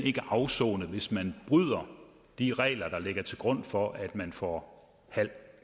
ikke afsonet hvis man bryder de regler der ligger til grund for at man får halv